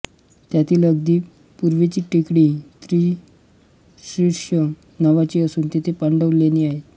त्यांतील अगदी पूर्वेची टेकडी त्रिशीर्ष नावाची असून तेथे पांडव लेणी आहेत